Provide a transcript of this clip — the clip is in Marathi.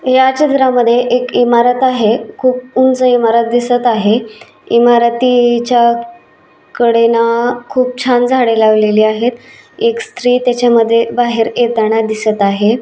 या चित्रामध्ये एक इमारत आहे खूप उंच इमारत दिसत आहे. इमारतीच्या कडेला खूप छान झाडे लावलेली आहेत एक स्त्री त्याच्यामध्ये बाहेर येताना दिसत आहे.